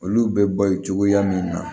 Olu bɛ balo cogoya min na